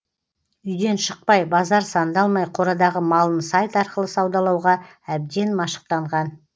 үйден шықпай базар сандалмай қорадағы малын сайт арқылы саудалауға әбден машықтанған